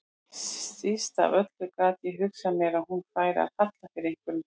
Síst af öllu gat ég hugsað mér að hún færi að falla fyrir einhverjum kana.